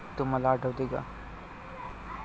तुम्हाला आठवते का?